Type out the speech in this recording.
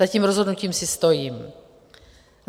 Za tím rozhodnutím si stojím.